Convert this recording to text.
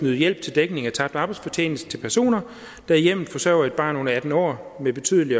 yde hjælp til dækning af tabt arbejdsfortjeneste til personer der i hjemmet forsørger et barn under atten år med betydelig